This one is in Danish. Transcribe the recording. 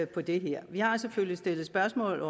på det her vi har selvfølgelig stillet spørgsmål